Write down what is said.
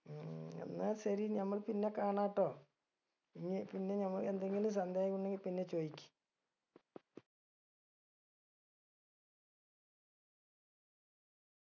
ഉം എന്നാ ശരി നമ്മൾ പിന്നെ കാണാട്ടോ ഇനി പിന്നെ നമ്മള് എന്തെങ്കിലും സന്ദേഹം ഉണ്ടെങ്കിൽ പിന്നെ ചോയ്ക്ക്